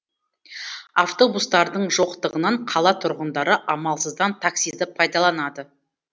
автобустардың жоқтығынан қала тұрғындары амалсыздан таксиды пайдаланады